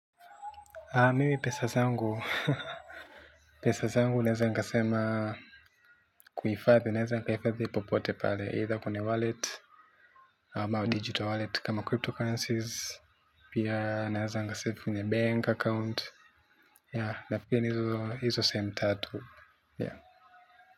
Mimi pesa zangu pesa zangu naweza nikasema kuhifadhi naweza nikaweka popote pale, either kwenye wallet ama digital wallet kama cryptocurrencies, pia naweza nika save kwenye bank account nafikiria ni hizo sehemu tatu.